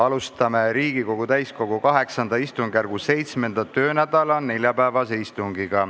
Alustame Riigikogu täiskogu VIII istungjärgu 7. töönädala neljapäevast istungit.